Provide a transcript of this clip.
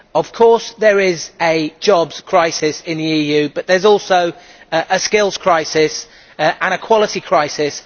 Of course there is a jobs crisis in the EU, but there is also a skills crisis and a quality crisis.